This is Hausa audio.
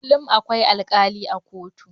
Kullum akwai alkali a kotu.